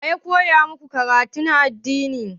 Wane ne ya yi maku karatun addini?